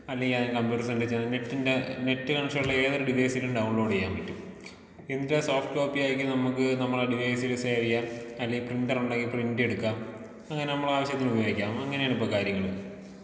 അല്ലെങ്കിൽ ഏതെങ്കിലും കമ്പ്യൂട്ടർ സെന്ററിൽ ചെന്ന് നെറ്റിന്റെ നെറ്റ് കണക്ഷണുള്ള ഏതെങ്കിലും ഡിവൈസിലും ഡൗൺലോഡീയ്യാൻ പറ്റും. എന്നിട്ടാ സോഫ്റ്റ് കോപ്പി ആയിട്ട് നമുക്ക് ഡിവൈസിൽ സേവീയ്യാൻ, അല്ലെങ്കി പ്രിന്ററുണ്ടെങ്കിൽ പ്രിന്റ് എടുക്കാം, അങ്ങനെ നമ്മളെ ആവശ്യത്തിനു ഉപയോഗിക്കാം അങ്ങനേണിപ്പൊ കാര്യങ്ങള്.